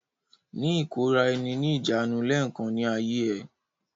Ní ìkóra-ẹni-ní-ìjánu lẹ́ẹ̀kan ní ayé ẹ!